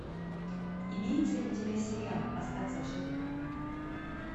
имеется ли у тебя сериал остаться в живых